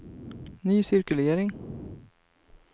ny cirkulering